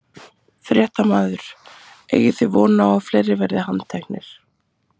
Fréttamaður: Eigið þið von á að fleiri verði handteknir?